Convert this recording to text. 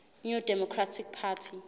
new democratic party